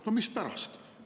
No mispärast?